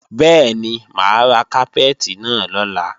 Bẹ́ẹ̀ni, mà á ra kápẹ́ẹ̀tì náà lọ́la